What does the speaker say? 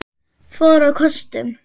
fór á kostum.